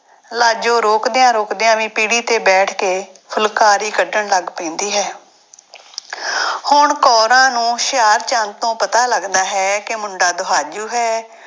ਲਾਜੋ ਰੋਕਦਿਆਂ ਰੋਕਦਿਆਂ ਵੀ ਪੀੜ੍ਹੀ ਤੇ ਬੈਠ ਕੇ ਫੁਲਕਾਰੀ ਕੱਢਣ ਲੱਗ ਪੈਂਦੀ ਹੈ ਹੁਣ ਕੋਰਾਂ ਨੂੰ ਹੁਸ਼ਿਆਰਚੰਦ ਤੋਂ ਪਤਾ ਲੱਗਦਾ ਹੈ ਕਿ ਮੁੰਡਾ ਦੁਹਾਜੂ ਹੈ।